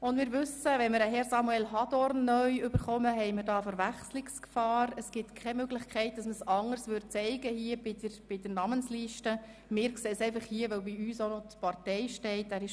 Wie wir wissen, besteht Verwechslungsgefahr, wenn ein neuer Herr Samuel Leuenberger in den Rat eintritt.